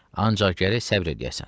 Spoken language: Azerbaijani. Ancaq gərək səbr eləyəsən.